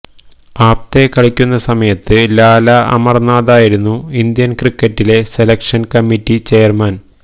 ആപ്തെ കളിക്കുന്ന സമയത്ത് ലാല അമർനാഥായിരുന്നു ഇന്ത്യൻ ക്രിക്കറ്റിലെ സെലക്ഷൻ കമ്മിറ്റി ചെയർമാൻ